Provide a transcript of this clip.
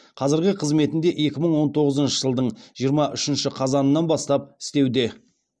қазіргі қызметінде екі мың он тоғызыншы жылдың жиырма үшінші қазанын бастап істеуде